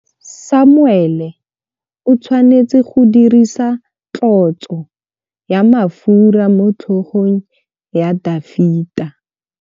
Samuele o tshwanetse go dirisa tlotsô ya mafura motlhôgong ya Dafita.